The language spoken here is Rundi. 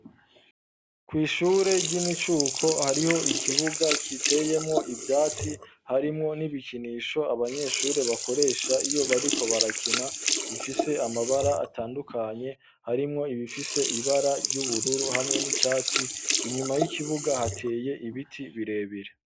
Kw'ishure ry'imicuko ,hariho ikibuga kiteyemwo ivyatsi, harimwo n'ibikinisho abanyeshure bakoresha ,iyo bariko barakena ,bifise amabara atandukanye, harimwo ibifise ibara ry'ubururu, hamwe n'icatsi, inyuma y'ikibuga hateye ibiti birebire.